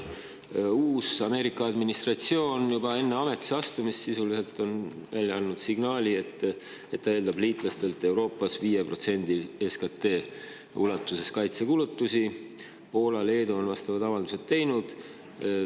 Uus Ameerika administratsioon on juba enne ametisse astumist sisuliselt andnud signaali, et ta eeldab liitlastelt Euroopas kaitsekulutusi suuruses 5% SKT‑st. Poola ja Leedu on vastavad avaldused teinud.